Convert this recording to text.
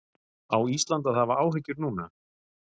Á Ísland að hafa áhyggjur núna?